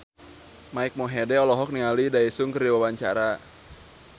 Mike Mohede olohok ningali Daesung keur diwawancara